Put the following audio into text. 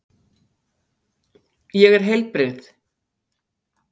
Ég er heilbrigð.